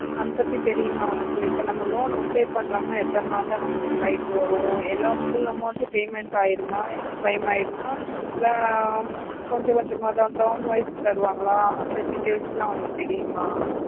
அத பத்தி தெரியுமா உனக்கு இப்போ நம்ம loan apply பண்றோம்னா எத்தனை நாளுல நமக்கு கைல வரும் எல்லாம் full amount payment ஆய்டுமா claim ஆய்டுமா இல்ல கொஞ்ச கொஞ்சம்தான் term wise தருவங்கள அந்த details ல உனக்கு தெரியுமா